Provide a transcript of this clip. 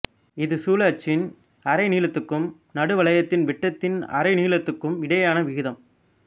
இது சுழலச்சின் அரை நீளத்துக்கும் நடுவளையத்தின் விட்டத்தின் அரைநீளத்துக்கும் இடையேயான விகிதம்